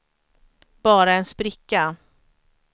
bara en spricka